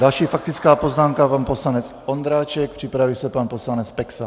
Další faktická poznámka, pan poslanec Ondráček, připraví se pan poslanec Peksa.